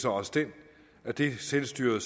også den at det selvstyret